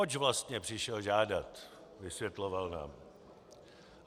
Oč vlastně přišel žádat, vysvětloval nám.